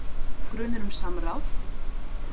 Grunur um samráð